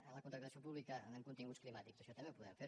en la contractació pública en continguts climàtics això també ho podem fer